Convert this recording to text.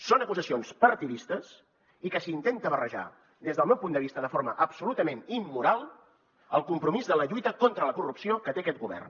són acusacions partidistes i s’hi intenta barrejar des del meu punt de vista de forma absolutament immoral el compromís de la lluita contra la corrupció que té aquest govern